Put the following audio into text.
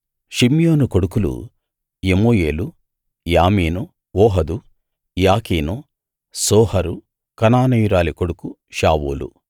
షిమ్యోను కొడుకులు యెమూయేలు యామీను ఓహదు యాకీను సోహరు కనానీయురాలి కొడుకు షావూలు